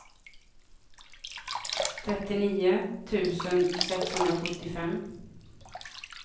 trettionio tusen sexhundrasjuttiofem